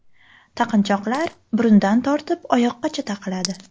Taqinchoqlar burundan tortib oyoqqacha taqiladi.